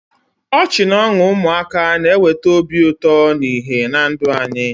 Ọchị na ọṅụ ụmụaka na-eweta obi ụtọ na ìhè na ndụ anyị.